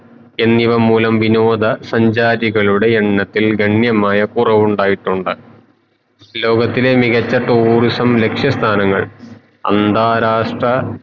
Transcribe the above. എന്നിവ മൂലം വിനോദ സഞ്ചാരികളുടെ എണ്ണത്തിൽ ഗണ്യമായ കൊറവുണ്ടായിട്ടുണ്ട് ലോകത്തിലെ മികച്ച tourism ലക്ഷ്യ സ്ഥാനങ്ങൾ അന്താരാഷ്ട്ര